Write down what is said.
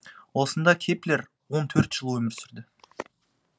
осында кеплер он төрт жыл өмір сүрді